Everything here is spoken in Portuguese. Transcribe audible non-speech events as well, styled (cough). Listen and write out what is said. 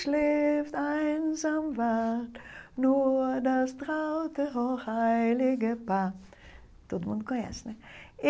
(unintelligible) Todo mundo conhece, né?